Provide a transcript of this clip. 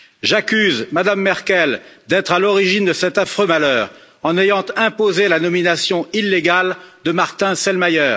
J'accuse Mme Merkel d'être à l'origine de cet affreux malheur, en ayant imposé la nomination illégale de Martin Selmayr.